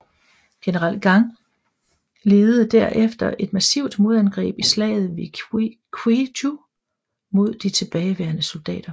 General Gang ledede der efter et massivt modangreb i Slaget ved Kwiju mod de tilbageværende soldater